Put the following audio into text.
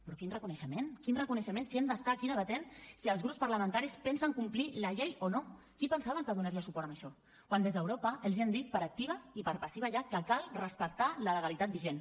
però quin reconeixement quin reconeixement si hem d’estar aquí debatent si els grups parlamentaris pensen complir la llei o no qui pensaven que donaria suport a això quan des d’europa els han dit per activa i per passiva ja que cal respectar la legalitat vigent